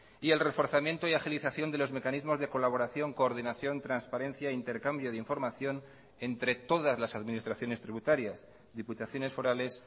y el reforzamiento y agilización de los mecanismos de colaboración coordinación transparencia intercambio de información entre todas las administraciones tributarias diputaciones forales